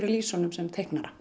lýsa honum sem teiknara